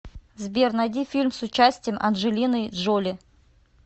сбер найди фильм с участием анджелиной джоли